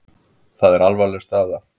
Það er alvarleg staða.